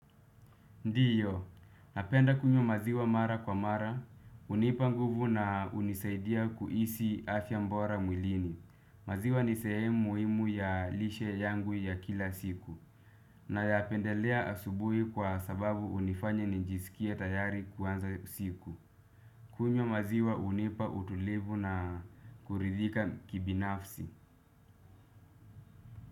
Ndiyo, napenda kunywa maziwa mara kwa mara, hunipa nguvu na hunisaidia kuhisi afya bora mwilini. Maziwa ni sehemu muhimu ya lishe yangu ya kila siku, na ya pendelea asubuhi kwa sababu hunifanya nijisikie tayari kuanza siku. Kunywa maziwa hunipa utulivu na kuridhika kibinafsi.